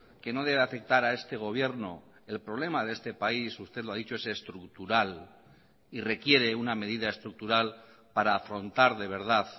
que no debe afectar a este gobierno el problema de este país usted lo ha dicho es estructural y requiere una medida estructural para afrontar de verdad